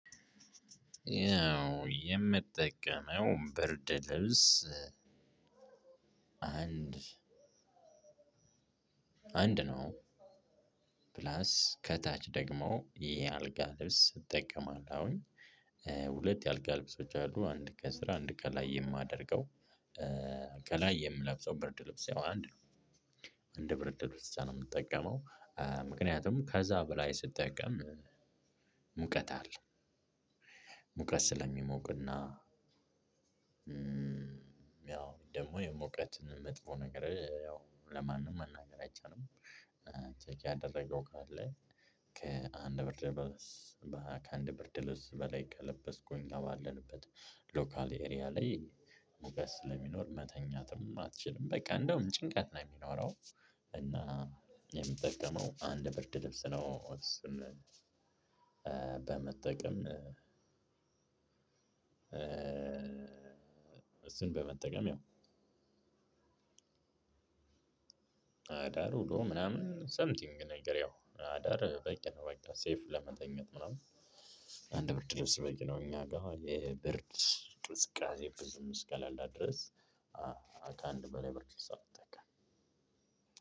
የምጠቀመው ብርድ ልብስ አንድ አንድ ነው። ፕላስ ከታች ደግሞ ይሄ አልጋ ልብስ እጠቀማለሁኝ። ሁለት የአልጋ ልብሶች አሉ። አንድ ከስር አንድ ከላይ የማደርገው። ከላይ የምለብሰው ብርድ ልብስ ያው አንድ ነው። አንድ ብርድ ልብስ ብቻ ነው የምትጠቀመው። ምክንያቱም ከዛ በላይ ስትጠቀም ሙቀት አለ። ሙቀት ስለሚሞቅና ያው ደግሞ የሙቀት መጥፎ ነገር ያው ለማንም መናገር አይቻልም። ቼክ ያደረገው ካለ ከአንድ ብርድ ብርድ ልብስ በላይ ከለበስኩኝ ባለንበት ሎካል ኤሪያ ላይ ሙቀት ስለሚኖር መተኛትም አትችልም። በቃ እንደውም ጭንቀት ነው የሚኖረው። እና የምጠቀመው አንድ ብርድ ልብስ ነው። በመጠቀም እሱን በመጠቀም ያው አዳር ውሎ ምናምን ሰምቲንግ ነገር ያው አዳር በቂ ነው። በቃ ሴፍ ለመተኛት ምናምን አንድ ብርድ ልብስ በቂ ነው። እኛ ጋር አሁን የብርድ ቅዝቃዜ ብዙ እስከሌለ ድረስ ከአንድ በላይ ብርድ ልብስ አልጠቀምም